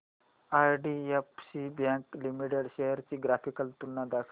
IDFC bank limited shares ची graphical तुलना दाखव